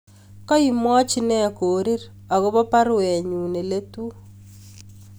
Kaimwochi nee Korir agobo baruenyun neletu